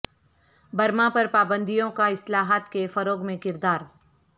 Burma پر پابندیوں کا اصلاحات کے فروغ میں کردار